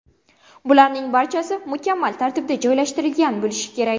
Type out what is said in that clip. Bularning barchasi mukammal tartibda joylashtirilgan bo‘lishi kerak.